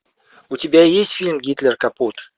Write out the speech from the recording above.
у тебя есть фильм гитлер капут